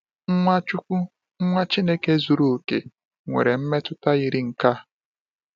Nwachukwu, Nwa Chineke zuru oke, nwere mmetụta yiri nke a.